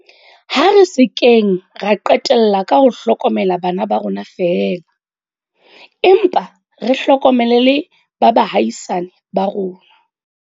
Ha re se keng ra qetella ka ho hlokomela bana ba rona feela, empa re hlokomele le ba baahisani ba rona.